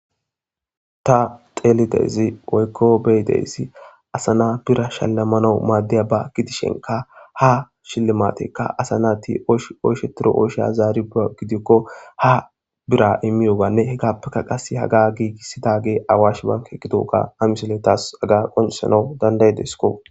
Ta xeelidezi oykko beydeyssi asana bira shallamanau maaddiya ba gidishenka ha shillimatekka asana ti shoyshe tiro oysheya zaari a gidikko ha bira immiyoganne hegappeka qase haga giigissidage awash banke gidoga amisoletas aga qonisana dandaye desko.